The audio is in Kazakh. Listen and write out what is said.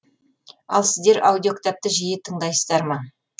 ал сіздер аудиокітапты жиі тыңдайсыздар ма